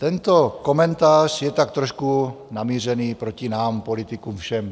Tento komentář je tak trošku namířený proti nám politikům, všem.